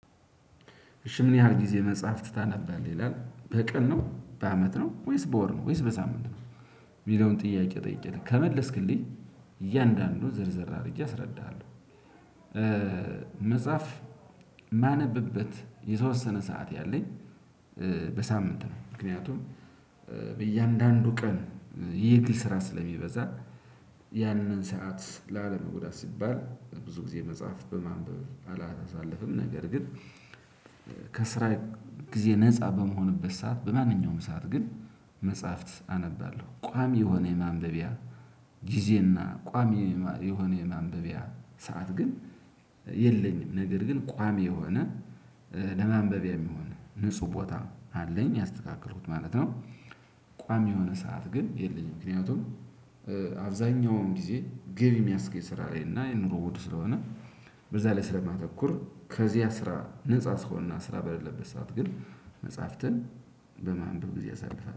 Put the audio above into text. እሺ ምን? ያህል ጊዜ መጽሐፍት ታነባለህ ይላል በቀን ነው በአመት ነው ወይስ በወር ነው ወይስ በሳምንት ነው የሚለውን ጥያቄ ጠይቄህ ከመለስክልኝ እያንዳንዱን ዝርዝር አድርጌ አስረዳሃለሁ። መጽሐፍ የማነብበት የተወሰነ ሰዓት ያለኝ። በሳምንት ነው ምክንያቱም በእያንዳንዱ ቀን የግል ስራ ስለሚበዛ ያንን ሰዓት ላለመጉዳት ሲባል ብዙ ጊዜ መጽሐፍ በማንበብ አላሳለፍም። ነገር ግን ከስራ ጊዜ ነፃ በምሆንበት ሰዓት በማንኛውም ሰዓት ግን ምትጽሐፍት አነባለሁ። ቋሚ የሆነ የማንበቢያ ጊዜና ቋሚ የሆነ የማንበቢያ ሰዓት ግን የለኝም። ነገር ግን ቋሚ የሆነ ለማንበቢያ የሚሆን ንጹህ ቦታ አለኝ ያስተካከልኩት ማለት ነው። ቋሚ የሆነ ሰዓት ግን የለኝም። ምክንያቱም አብዛኛውን ጊዜ ገቢ የሚያስገኝ ስራ ላይ እና የ ኑሮው ውድ ስለሆነ በዛ ላይ ስለማተኩር ከዛ ስራ ነፃ ስሆንና ስራ በሌለበት ሰዓት ግን መጽሐፍትን በማንበብ ጊዜ አሳልፋለሁ